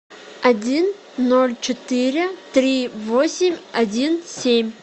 один ноль четыре три восемь один семь